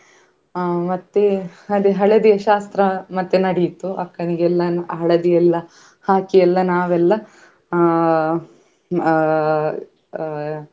ಅಹ್ ಮತ್ತೆ ಅದೇ ಹಳದಿಯ ಶಾಸ್ತ್ರ ಮತ್ತೆ ನಡಿಯಿತು ಅಕ್ಕನಿಗೆ ಎಲ್ಲ ಹಳದಿ ಎಲ್ಲ ಹಾಕಿ ಎಲ್ಲ ನಾವೆಲ್ಲಾ ಅಹ್ ಅಹ್ ಅಹ್.